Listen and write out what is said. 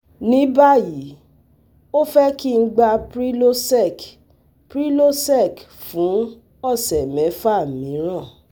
Ní báyìí, ó fẹ́ kí n gba Prylosec Prylosec fún ọ̀sẹ̀ mẹ́fà míràn